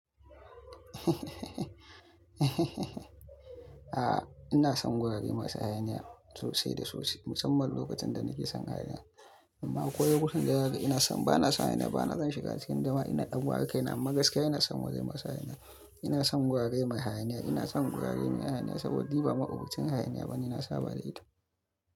A'a, ina son gurare masu hayaniya sosai da sosai, musamman lokacin da nake son hayaniya. Amma koyaushe lokacin da yake ina son, bana son hayaniya, bana zan shiga cikin dama. Ina ɗan ware kaina, amma gaskiya ina son wurare masu hayaniya. Ina son gurare mai hayaniya. Ina son gurare mai hayaniya saboda ba ma'abociin hayaniya ba ne. Na saba da ita.